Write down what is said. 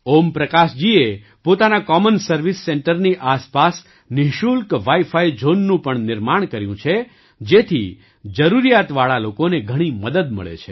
ઓમપ્રકાશજીએ પોતાના common service સેન્ટરની આસપાસ નિશુલ્ક વાઇફાઇ ઝૉનનું પણ નિર્માણ કર્યું છે જેથી જરૂરિયાતવાળા લોકોને ઘણી મદદ મળે છે